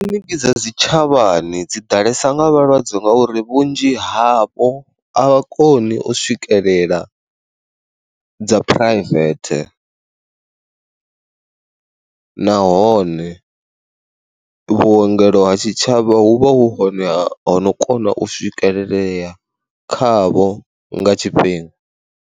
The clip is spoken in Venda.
Kiḽiniki dza dzi tshavhani dzi ḓalesa nga vhalwadze nga uri vhunzhi havho avha koni u swikelela dza phuraivethe. nahone vhuongelo ha tshitshavha hu vha hu hone hono kona u swikelelea khavho nga tshifhinga.